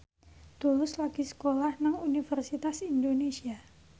Tulus lagi sekolah nang Universitas Indonesia